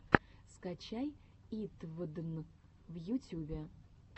скачай итвдн в ютюбе